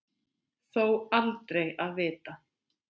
Þó aldrei að vita.